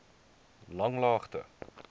langlaagte